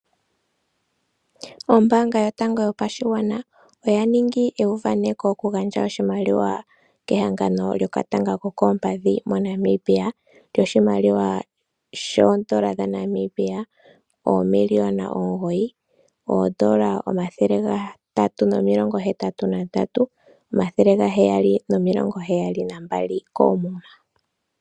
Oombanga yotango yopashigwana oya ningi euvaneko oku gandja oshimaliwa kehangano lyokatanga kokoompadhi moNamibia, lyoshimaliwa shoondola dhaNamibia oomiliona omugoyi, omayovi gatatu nomilongo hetatu nandatu, omathele gaheyali nomilongo heyali nambali, koomuma.